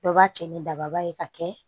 Dɔ b'a cɛ ni daba ye ka kɛ